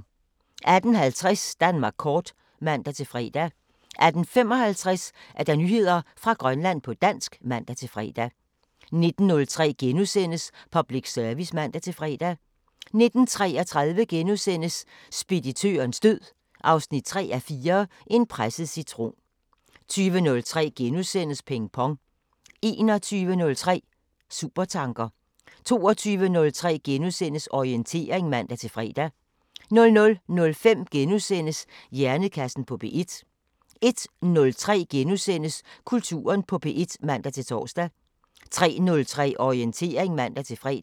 18:50: Danmark kort (man-fre) 18:55: Nyheder fra Grønland på dansk (man-fre) 19:03: Public Service *(man-fre) 19:33: Speditørens død 3:4 – En presset citron * 20:03: Ping Pong * 21:03: Supertanker 22:03: Orientering *(man-fre) 00:05: Hjernekassen på P1 * 01:03: Kulturen på P1 *(man-tor) 03:03: Orientering (man-fre)